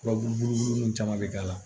Furabulu nun caman bɛ k'a la